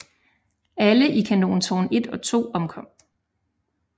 Alle i kanontårn 1 og 2 omkom